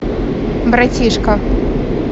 братишка